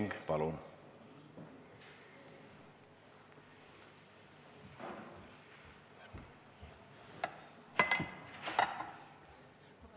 Ma palun kolm minutit.